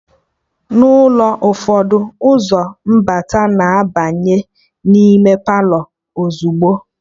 Na ulo ụfọdụ, ụzọ mbata na-abanye n'ime Palọ ozugbo